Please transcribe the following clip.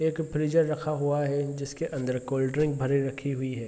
एक फ्रिजर रखा हुआ है जिसके अंदर कोल्ड ड्रिंक भरे हुई रखी हुई हैं।